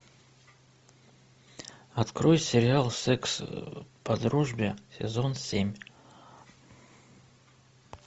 открой сериал секс по дружбе сезон семь